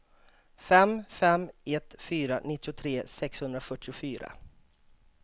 fem fem ett fyra nittiotre sexhundrafyrtiofyra